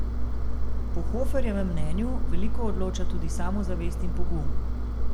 Po Hoferjevem mnenju veliko odloča tudi samozavest in pogum.